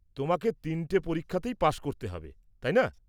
তোমাকে তিনটে পরীক্ষাতেই পাশ করতে হবে, তাই না?